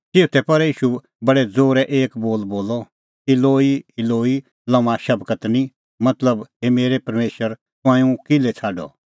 चिऊथै पहरै ईशू बडै ज़ोरै एक बोल बोलअ इलोई इलोई लम्मा शबक्तनी मतलब हे मेरै परमेशरा हे मेरै परमेशर तंऐं हुंह किल्है छ़ाडअ